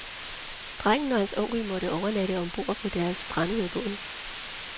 Drengen og hans onkel måtte overnatte om bord på deres strandede båd.